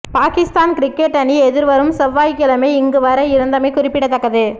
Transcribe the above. Pakistan cricket அணி எதிர்வரும் செவ்வாய்க்கிழமை இங்கு வர இருந்தமை குறிப்பிடத்தக்கது